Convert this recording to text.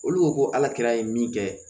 Olu ko ko ala kira ye min kɛ